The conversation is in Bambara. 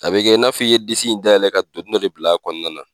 A bɛ kɛ i na fɔ i ye disi in dayɛlɛ ka doni dɔ de bila a kɔnɔna na.